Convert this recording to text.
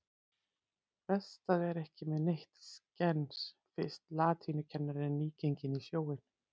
Best að vera ekki með neitt skens fyrst latínukennarinn er nýgenginn í sjóinn.